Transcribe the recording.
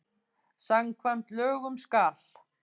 Samkvæmt lögum skal